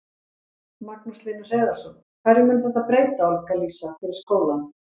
Magnús Hlynur Hreiðarsson: Hverju mun þetta breyta, Olga Lísa, fyrir skólann?